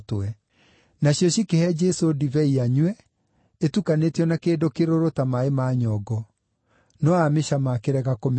Nacio cikĩhe Jesũ ndibei anyue, ĩtukanĩtio na kĩndũ kĩrũrũ ta maaĩ ma nyongo; no aamĩcama akĩrega kũmĩnyua.